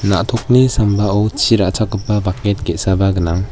na·tokni sambao chi ra·chakgipa baket ge·saba gnang.